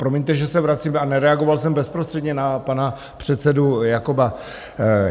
Promiňte, že se vracím a nereagoval jsem bezprostředně na pana předsedu Jakoba.